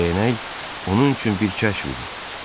Dəyənək onun üçün bir kəşf idi.